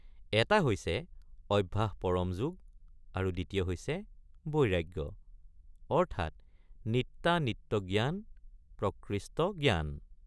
এটা হৈছে অভ্যাস পৰমযোগ আৰু দ্বিতীয় হৈছে বৈৰাগ্য অৰ্থাৎ নিত্যা নিত্যজ্ঞান প্ৰকৃষ্ট জ্ঞান ।